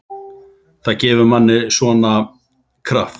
Það gefur manni svona. kraft.